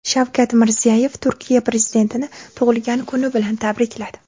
Shavkat Mirziyoyev Turkiya prezidentini tug‘ilgan kuni bilan tabrikladi.